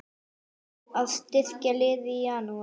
Að styrkja liðið í Janúar?